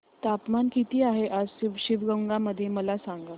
तापमान किती आहे आज शिवगंगा मध्ये मला सांगा